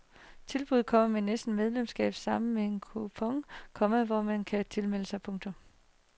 Tilbuddet kommer med næste medlemsblad sammen med en kupon, komma hvor man kan tilmelde sig. punktum